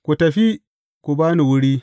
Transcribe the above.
Ku tafi, ku ba ni wuri!